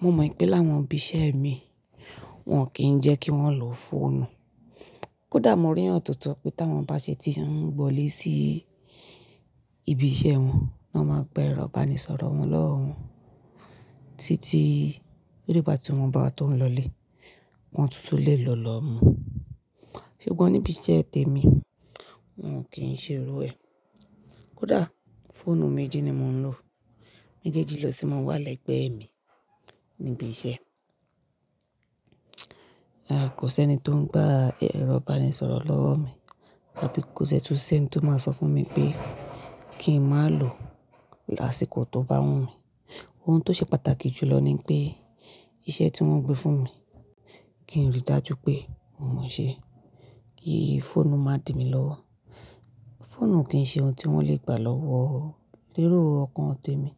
Mo mọ̀ pé láwọn ibi iṣẹ́ mi, wọ́n kìí jẹ́ kí wọ́n lọ fọ́nù. Kódà mo rí ọ̀nà tó tọ̀ pé tí wọ́n bá ṣe tí ń bọ̀ lé sí ibi iṣẹ́ wọn, ní wọ́n máa gbé ẹrọ baníṣọ̀rọ̀ wọn lọ́wọ́ wọn títí dé ìgbà tí wọ́n bá tó ń lọlé. Ọ̀kan tuntun lè lọ lọ mú. Ṣùgbọ́n ní ibi iṣẹ́ tèmi, wọ́n kìí ṣe rú ẹ. Kódà fóònù méjì ni mò ń lò. Méjèèjì lọ sí máa wà lẹ́gbẹ̀ẹ́ mi níbi iṣẹ́. Rárá kò sí ẹni tó ń gba ẹ̀rọ baníṣọ̀rọ̀ lọ́wọ́ mi àbí kò sí ẹni tó máa sọ fún mi pé kí n má ló lásìkò tó bá wù mí. Ohun tó ṣe pàtàkì jùlọ ni pé iṣẹ́ tí wọ́n gbé fún mi, kí n rí dájú pé mò ń mọṣẹ́ kí fóònù má dìmi lọ́wọ́. Fóònù kì í ṣe ohun tí wọ́n lè gbà lọ́wọ́ lérò ọkàn tèmi.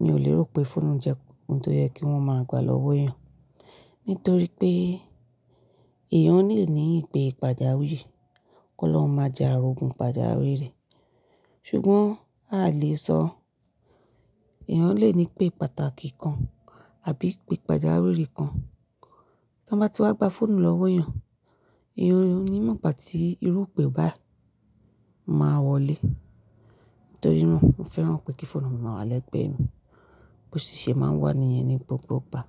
Mi ò lérò pé fóònù jẹ́ ohun tó yẹ kí wọ́n máa gbà lọ́wọ́ èèyàn nítorí pé èèyàn lè ní ìpè pàjáwìrì, kó lọ máa jẹ àrògún pàjáwìrì rẹ̀. Ṣùgbọ́n a lè sọ èèyàn lè ní ìpè pàtàkì kan àbí ìpè pàjáwìrì kan. Tí wọ́n bá ti wá gba fóònù lọ́wọ́ èèyàn, èèyàn ní ìmù nígbà tí irú ìpè bá máa wọlé. Nítorí náà, mò ń fẹ́ràn pé kí fóònù má wà lẹ́gbẹ̀ẹ́ mi. Bo ṣiṣẹ́ máa wà ní ẹni gbogbo bá.